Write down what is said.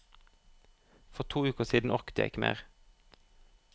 For to uker siden orket jeg ikke mer.